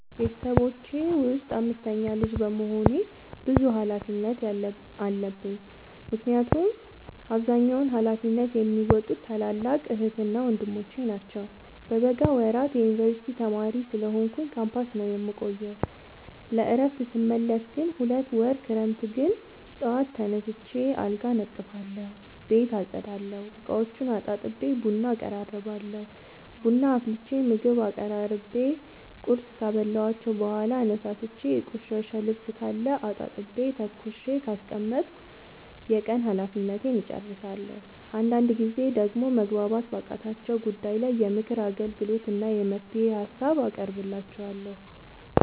ቤተሰቦቼ ውስጥ አምስተኛ ልጅ በመሆኔ ብዙ ሀላፊነት የለብኝ ምክንያቱን አብዛኛውን ሀላፊነት የሚዎጡት ታላላቅ ዕህትና ወንድሞቼ ናቸው። በበጋ ወራት የዮንበርሲቲ ተማሪ ስለሆንኩኝ ካምፖስ ነው የምቆየው። ለእረፍት ስመለስ ግን ሁለት ወር ክረምት ግን ጠዋት ተነስቼ አልጋ አነጥፋለሁ ቤት አፀዳለሁ፤ እቃዎቹን አጣጥቤ ቡና አቀራርባለሁ ቡና አፍልቼ ምግብ አቀራርቤ ቁርስ ካበላኋቸው በኋላ አነሳስቼ። የቆሸሸ ልብስካለ አጣጥቤ ተኩሼ ካስቀመጥኩ የቀን ሀላፊነቴን እጨርሳለሁ። አንዳንድ ጊዜ ደግሞ መግባባት ባቃታቸው ጉዳይ ላይ የምክር አገልግሎት እና የመፍትሄ ሀሳብ አቀርብላቸዋለሁ።